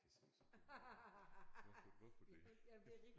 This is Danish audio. Det ser så dumt ud hvorfor hvorfor det